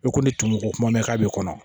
E ko ne tɔmi ko kuma mɛn k'a b'i kɔnɔ